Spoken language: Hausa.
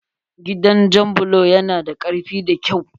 Gidan jan bulo ya na da karfi da kyau.